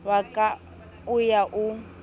wa ka o ya o